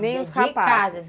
Nem os rapazes?